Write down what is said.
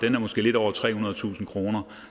måske lidt over trehundredetusind kr